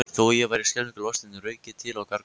Þó ég væri skelfingu lostinn rauk ég til og gargaði